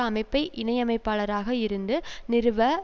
அமைப்பை இணை அமைப்பாளராக இருந்து நிறுவ